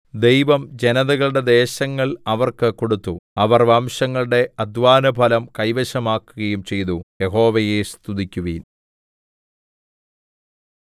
ദൈവം ജനതകളുടെ ദേശങ്ങൾ അവർക്ക് കൊടുത്തു അവർ വംശങ്ങളുടെ അദ്ധ്വാനഫലം കൈവശമാക്കുകയും ചെയ്തു യഹോവയെ സ്തുതിക്കുവിൻ